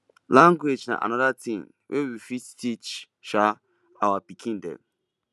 language na anoda thing wey we fit teach um our pikin dem